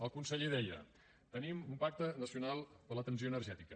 el conseller deia tenim un pacte nacional per a la transició energètica